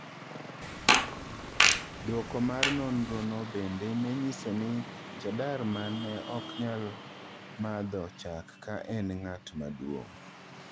Duoko mar nonro no bende nenyiso ni Cheddar Man ne oknyal madho chak ka en ng'at maduong'.